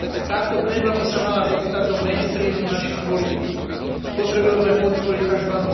Táto téma by sa mala dostať do mainstreamu našich politík, potrebujeme podporiť tzv.